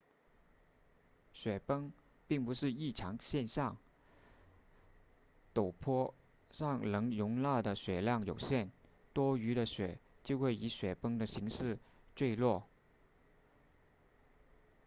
雪崩并不是异常现象陡坡上所能容纳的雪量有限多余的雪就会以雪崩的形式坠落